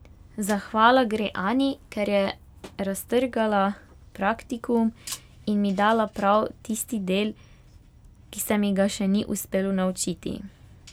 Zahvala gre Ani, ker je raztrgala praktikum in mi dala prav tisti del, ki se mi ga še ni uspelo naučiti.